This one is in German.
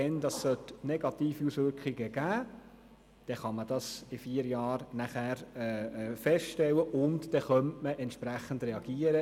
Wenn das Ganze negative Auswirkungen haben sollte, kann man das nachher in vier Jahren feststellen und entsprechend reagieren.